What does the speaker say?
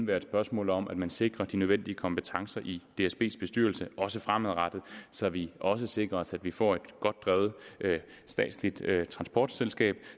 være et spørgsmål om at man sikrer de nødvendige kompetencer i dsbs bestyrelse også fremadrettet så vi også sikrer os at vi får et godt drevet statsligt transportselskab